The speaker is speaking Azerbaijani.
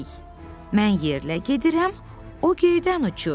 Mən yerlə gedirəm, o göydən uçur.